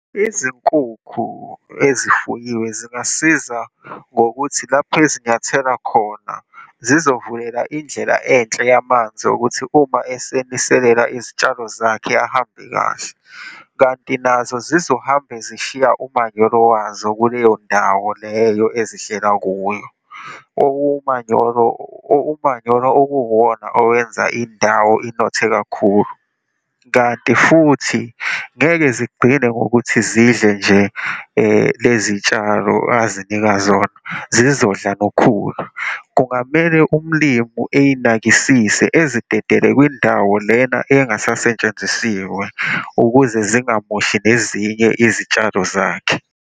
Izinkukhu ezifuyiwe zingasiza ngokuthi lapho ezinyathelo khona zizovulela indlela enhle yamanzi ukuthi uma eseniselela izitshalo zakhe, ahambe kahle, kanti nazo zizohambe zishiya umanyolo wazo kuleyo ndawo leyo ezidlela kuyo. Umanyolo, umanyolo okuwuwona owenza indawo inothe kakhulu, kanti futhi ngeke zigcine ngokuthi zidle nje lezi tshalo azinika zona, zizodla nokhulu. Kungamele umlimu eyinakisise, ezidedele kwindawo lena engasasentshenzisiwe ukuze zingamoshi nezinye izitshalo zakhe.